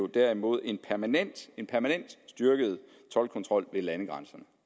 derimod en permanent en permanent styrket toldkontrol ved landegrænserne